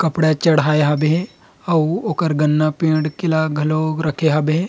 कपड़ा चढ़ाए हाबे हे अउ ओकर गन्ना पेड़ के केला घलो रखे हाबे हे।